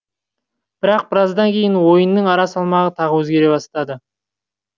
бірақ біраздан кейін ойынның ара салмағы тағы өзгере бастады